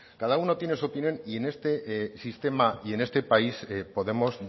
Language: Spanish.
cada uno tiene su opinión y en este sistema y en este país podemos